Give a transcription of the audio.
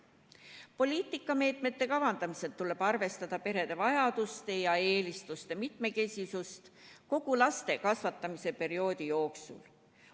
Poliitikameetmete kavandamisel tuleb arvestada perede vajaduste ja eelistuste mitmekesisust kogu laste kasvatamise perioodi jooksul.